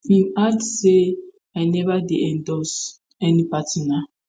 im add say i neva dey endorse any party na